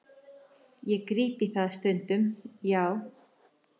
Ég gríp í það stundum, já.